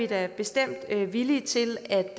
da bestemt villige til at